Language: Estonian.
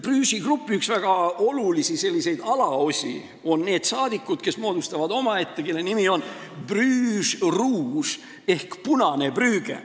Brugesi grupi üks väga olulisi alaosi on omaette rühm, mille nimi on Bruges Rouge ehk Punane Brügge.